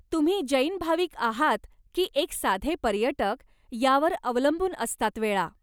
तुम्ही जैन भाविक आहात की एक साधे पर्यटक यावर अवलंबून असतात वेळा.